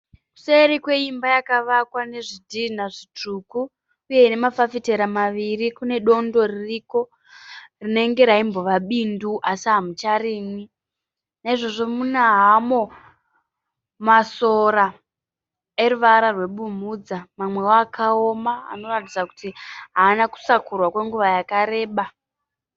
Kuseri kweimba yakavakwa nezvidhina zvitsvuku uye ine mafafitera maviri. Kune dondo ririko rinenge raimbova bindu asi hamucharimwi. Naizvozvo mune hamo masora eruvara rwebumhudza mamwewo akawoma anoratidza kuti haana kusakurwa kwenguva yakareba.